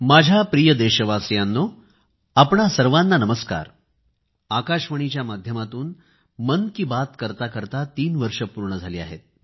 माझ्या प्रिय देशवासियांनो आपणा सर्वांना नमस्कार आकाशवाणीच्या माध्यमातून मन की बात करताकरता तीन वर्ष पूर्ण झाली आहेत